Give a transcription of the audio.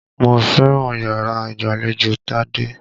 Mo fẹ́ràn yàrá ìgbàlejò Tádé.